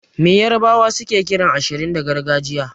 Me yarbawa suke kiran ashirin da gargajiya?